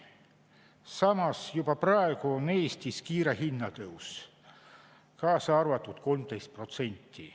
Samas juba praegu on Eestis kiire hinnatõus, 13%.